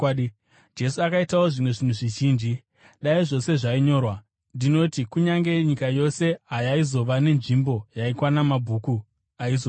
Jesu akaitawo zvimwe zvinhu zvizhinji. Dai zvose zvainyorwa, ndinoti kunyange nyika yose hayaizova nenzvimbo yaikwana mabhuku aizonyorwa.